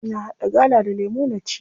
Ina haɗa gala da lemu na ci.